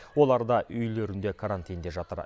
олар да үйлерінде карантинде жатыр